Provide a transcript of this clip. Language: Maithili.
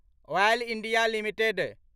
oil India limited